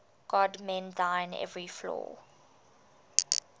god mend thine every flaw